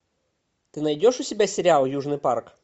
ты найдешь у себя сериал южный парк